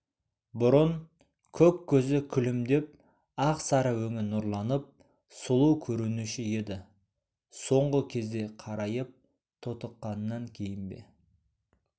бұрын көк көзі күлімдеп ақ сары өңі нұрланып сұлу көрінуші еді соңғы кезде қарайып тотыққаннан кейін бе